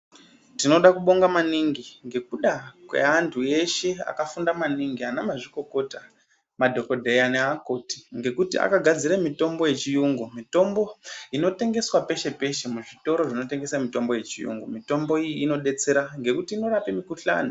Tinoda kubonga maningi ngekuda kweantu eshe akafunda maningi, anamazvikokota, madhokodheya neakoti, ngekuti akagadzire mitombo yechiyungu. Mitombo inotengeswa peshe-peshe, muzvitoro zvinotengesa mitombo yechiyungu .Mitombo iyi inodetsera ngekuti inorape mikuhlane.